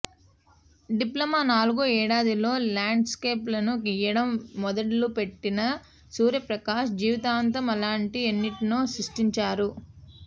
diploma నాలుగో ఏడాదిలో ల్యాండ్స్కేప్లను గీయడం మొదలుపెట్టిన సూర్యప్రకాశ్ జీవితాంతం అలాంటి ఎన్నింటినో సృష్టించారు